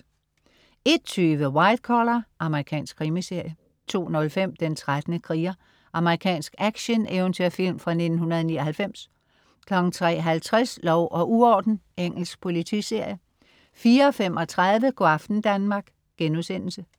01.20 White Collar. Amerikansk krimiserie 02.05 Den 13. kriger. Amerikansk actioneventyrfilm fra 1999 03.50 Lov og uorden. Engelsk politiserie 04.35 Go' aften Danmark*